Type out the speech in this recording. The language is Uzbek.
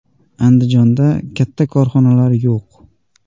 Andijonda katta korxonalar yo‘q.